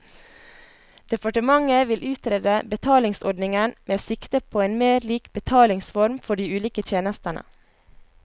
Departementet vil utrede betalingsordningen med sikte på en mer lik betalingsform for de ulike tjenestene.